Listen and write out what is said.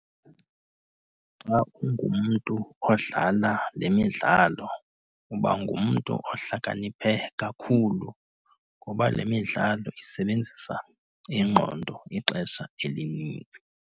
Xa ungumntu odlala le midlalo uba ngumntu ohlakaniphe kakhulu ngoba le midlalo isebenzisa ingqondo ixesha elinintsi.